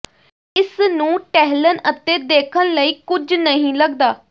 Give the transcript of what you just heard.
ਇਸ ਨੂੰ ਟਹਿਲਣ ਅਤੇ ਦੇਖਣ ਲਈ ਕੁਝ ਨਹੀਂ ਲਗਦਾ